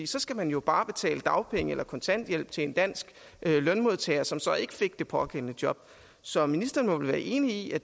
så skal man jo bare betale dagpenge eller kontanthjælp til en dansk lønmodtager som så ikke fik det pågældende job så ministeren må vel være enig i at